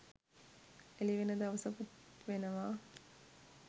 එළිවෙන දවසකුත් වෙනවා.